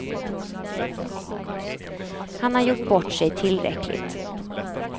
Han har gjort bort sig tillräckligt.